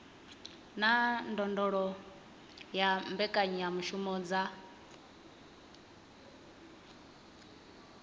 na ndondolo ya mbekanyamushumo dza